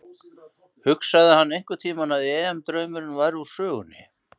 Hugsaði hann einhverntímann að EM draumurinn væri úr sögunni?